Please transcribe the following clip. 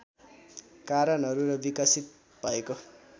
कारणहरू र विकसित भएको